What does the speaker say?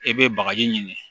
E be bagaji ɲini